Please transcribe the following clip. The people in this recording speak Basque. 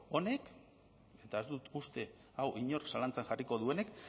honek eta ez dut uste hau inork zalantzan jarriko duenik